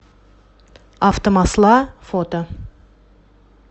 автомасла фото